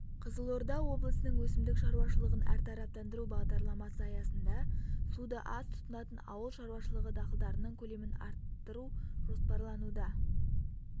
қызылорда облысының өсімдік шаруашылығын әртараптандыру бағдарламасы аясында суды аз тұтынатын ауыл шаруашылығы дақылдарының көлемін арттыру жоспарлануда